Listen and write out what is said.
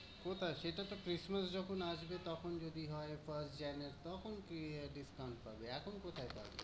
কোথায় সেটা তো christmas যখন আসবে তখন যদি হয়। তখন গিয়ে না discount ডিসকাউন্ট পাবি, এখন কোথায় পাবি?